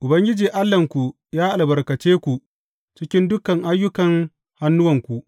Ubangiji Allahnku ya albarkace ku cikin dukan aikin hannuwanku.